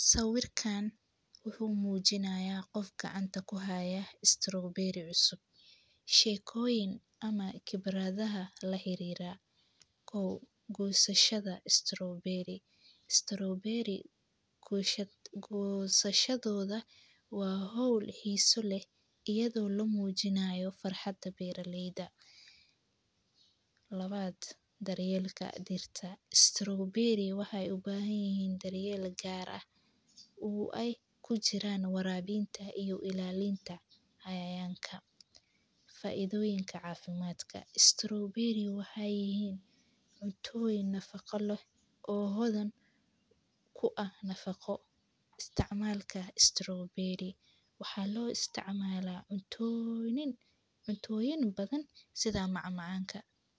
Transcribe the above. Saawirkaan wuxuu muujinayaa qof gacanta ku haya strawberry cusub. Sheekooyin ama khibraadaha la xiriira qow goosashada strawberry . strawberry gooshad goosashadooda waa hawl xiiso leh iyadoo la muujinayo farxadda beeraleyda. Labaad, daryeelka dirta. strawberry wahay u baahan yahiin daryeela gaar ah uu ay ku jiraan waraabiinta iyo ilaalinta cayayaanka. Faa'iidooyinka caafimaadka. strawberry waxay yahiin cuntooyin nafaqo leh oo hodan kuwa nafaqo. Istacmaalka strawberry waxaa loo isticmaalaa cuntooinin cuntooyin badan sida macmacaanka.